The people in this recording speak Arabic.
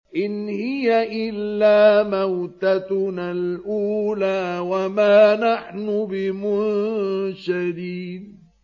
إِنْ هِيَ إِلَّا مَوْتَتُنَا الْأُولَىٰ وَمَا نَحْنُ بِمُنشَرِينَ